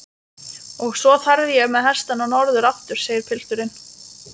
Og svo þarf ég með hestana norður aftur, segir pilturinn.